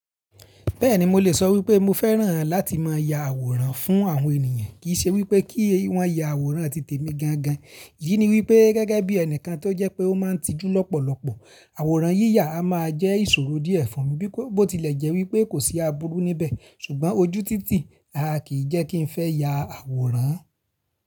Bẹ́ẹ̀ni mo lè sọ wípé mo fẹ́ràn láti máa ya àwòrán fún àwọn ènìyàn kìí ṣe wípé kí wọ́n ya àwòrán ti tèmi gangan. Iyí ni wípé gẹ́gẹ́ bí ẹnìkan tó jẹ́ pé ó máa ń tijú lọ́pọ̀lọpọ̀, àwòrán yíyà a máa jẹ́ ìṣòro díẹ̀ fún mi bí kó, bo tilẹ̀ jẹ́ wípé kò sí aburú níbẹ̀ ṣùgbọ́n ojú títì, a kì í jẹ́ kí ń fẹ́ ya àwòrán.